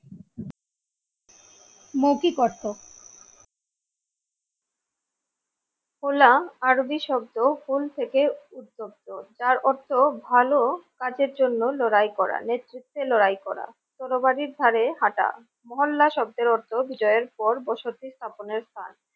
হো লা আরবি শব্দ হোল থেকে উত্তপ্ত যার অর্থ ভালো কাজের জন্য লড়াই করা নেতৃত্বে লড়াই করা তরবারি ধারে হাটা। মহল্লা শব্দের অর্থ বিজয়ের পর বসতি স্থাপনের কাজ।